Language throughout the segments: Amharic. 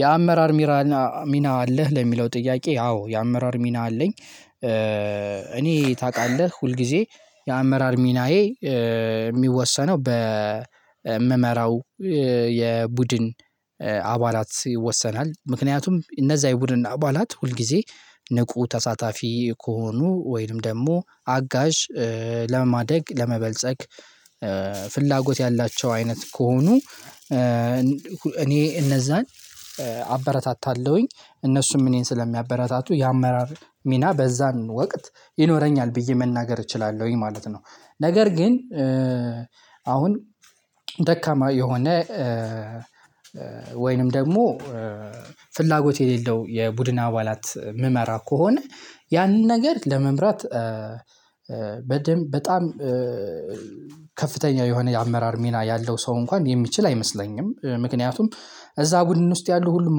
የአመራር ሚና አለህ ለሚለው ጥያቄ አዎ የአመራር ሚና አለኝ። እኔ ታውቃለህ ሁል ጊዜ የአመራር ሚናዬ የሚወሰነው በምመራው የቡድን አባላት ይወሰናል ምክንያቱም እነዛ የቡድን አባላት ሁል ጊዜ ንቁ ተሳታፊ ከሆኑ ወይንም ደግሞ አጋዥ ለማደግ ለመበልጸግ ፍላጎት ያላቸው አይነት ከሆኑ እኔ እነዛን አበረታታለሁኝ እነሱም እኔን ስለሚያበረታቱ የአመራር ሚና በዛን ወቅት ይኖረኛል ብዬ መናገር እችላለሁኝ ማለት ነው። ነገር ግን አሁን ደካማ የሆነ ወይንም ደግሞ ፍላጎት የሌለው የቡድን አባላት እምመራ ከሆነ ያንን ነገር ለመምራት በደንብ በጣም ከፍተኛ የሆነ የአመራር ሚና ያለው ሰው እንኳን የሚችል አይመስለኝም። ምክንያቱም እዛ ቡድን ውስጥ ያሉ ሁሉም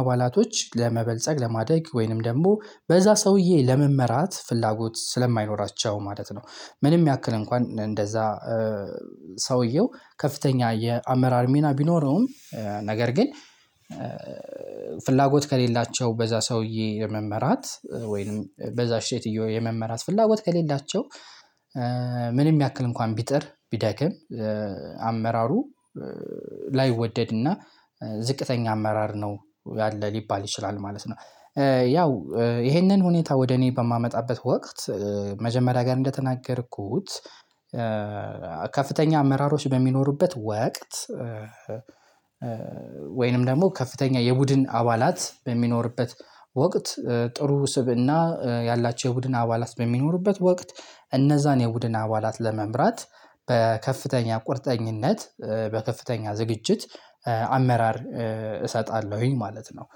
አባላቶች ለመበልጸግ ለማደግ ወይንም ደግሞ በዛ ሰውዬ ለመመራት ፍላጎት ስለማይኖራቸው ማለት ነው። ምንም ያክል እንኳን እንደዛ ሰውየው ከፍተኛ የአመራር ሚና ቢኖረውም ነገር ግን ፍላጎት ከሌላቸው በዛ ሰውዬ ለመመራት ወይንም በዛ ሴትዮ የመመራት ፍላጎት ከሌላቸው ምንም ያክል እንኳን ቢጥር ቢደክም አመራሩ ላይወደድና ዝቅተኛ አመራር ነው ያለ ሊባል ይችላል ማለት ነው። ያው ይሄንን ሁኔታ ወደ እኔ በማመጣበት ወቅት መጀመሪያ ጋር እንደተናገርኩት ከፍተኛ አመራሮች በሚኖሩበት ወቅት ወይንም ደግሞ ከፍተኛ የቡድን አባላት በሚኖርበት ወቅት ጥሩ ስብእና ያላቸው የቡድን አባላት በሚኖሩበት ወቅት እነዛን የቡድን አባላት ለመምራት በከፍተኛ ቁርጠኝነት በከፍተኛ ዝግጅት አመራር እሰጣለሁኝ ማለት ነው።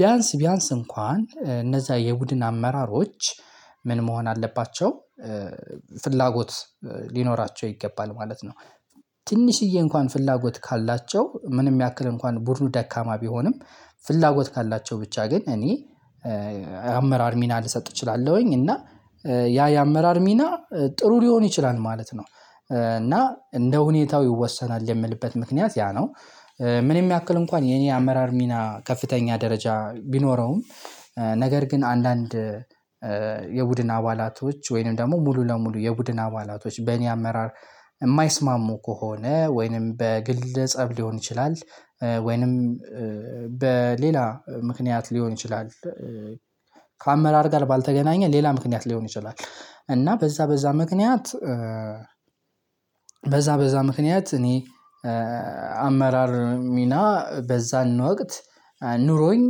ቢያንስ ቢያንስ እንኳን እነዛ የቡድን አመራሮች ምን መሆን አለባቸው ፍላጎት ሊኖራቸው ይገባል ማለት ነው። ትንሽዬ እንኳን ፍላጎት ካላቸው ምንም ያክል እንኳን ቡድኑ ደካማ ቢሆንም ፍላጎት ካላቸው ብቻ ግን እኔ አመራር ሚና ልሰጥ እችላለሁኝ እና ያ የአመራር ሚና ጥሩ ሊሆን ይችላል ማለት ነው። እና እንደ ሁኔታው ይወሰናል የምልበት ምክንያት ያ ነው። ምንም ያክል እንኳን የኔ አመራር ሚና ከፍተኛ ደረጃ ቢኖረውም ነገር ግን አንዳንድ የቡድን አባላቶች ወይንም ደግሞ ሙሉ ለሙሉ የቡድን አባላቶች በእኔ አመራር የማይስማሙ ከሆነ ወይንም በግል ፀብ ሊሆን ይችላል ወይንም በሌላ ምክንያት ሊሆን ይችላል። ከአመራር ጋር ባልተገናኘ ሌላ ምክንያት ሊሆን ይችላል እና በዛ በዛ ምክንያት በዛ በዛ ምክንያት እኔ አመራር ሚና በዛን ወቅት ኑሮኝ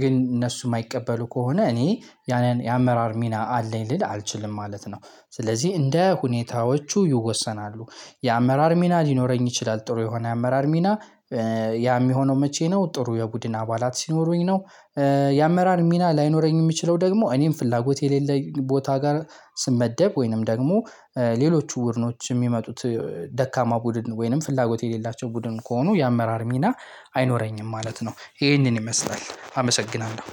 ግን እነሱ የማይቀበሉ ከሆነ እኔ ያንን የአመራር ሚና አለኝ ልል አልችልም ማለት ነው። ስለዚህ እንደ ሁኔታዎቹ ይወሰናሉ የአመራር ሚና ሊኖረኝ ይችላል ጥሩ የሆነ አመራር ሚና ያ የሚሆነው መቼ ነው ጥሩ የቡድን አባላት ሲኖሩኝ ነው? የአመራር ሚና ላይኖረኝ የሚችለው ደግሞ እኔም ፍላጎት የሌለኝ ቦታ ጋር ስመደብ ወይንም ደግሞ ሌሎቹ ቡድኖች የሚመጡት ደካማ ቡድን ወይንም ፍላጎት የሌላቸው ቡድን ከሆኑ የአመራር ሚና አይኖረኝም ማለት ነው። ይሄንን ይመስላል አመሰግናለሁ